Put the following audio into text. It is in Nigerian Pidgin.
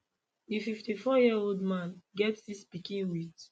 di 54yearold man get six pikin wit